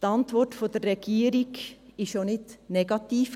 Die Antwort der Regierung war nicht negativ.